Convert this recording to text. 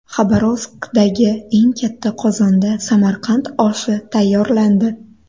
Xabarovskdagi eng katta qozonda Samarqand oshi tayyorlandi.